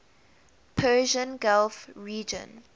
persian gulf region